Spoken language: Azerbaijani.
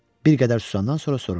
Bir qədər susandan sonra soruşdu: